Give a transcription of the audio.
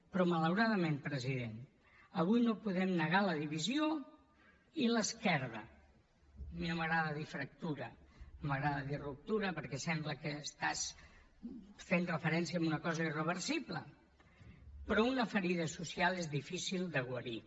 però malauradament president avui no podem negar la divisió i l’esquerda a mi no m’agrada dir fractura no m’agrada dir ruptura perquè sembla que estàs fent referència a una cosa irreversible però una ferida social és difícil de guarir